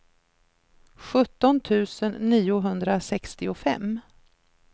sjutton tusen niohundrasextiofem